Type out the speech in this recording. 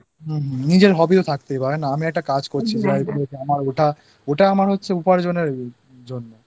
নিজের Hobby ও থাকতে পারে... আমি একটা কাজ করছি যেটা ওটা আমার উপার্জন এর জন্য